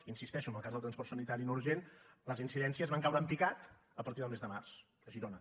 hi insisteixo en el cas del transport sanitari no urgent les incidències van caure en picat a partir del mes de març a girona